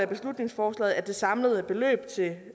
beslutningsforslaget at det samlede beløb til